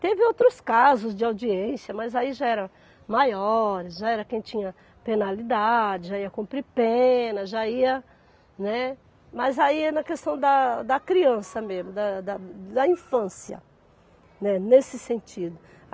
Teve outros casos de audiência, mas aí já era maior, já era quem tinha penalidade, já ia cumprir pena, já ia, né... Mas aí é na questão da da criança mesmo, da da infância, né, nesse sentido.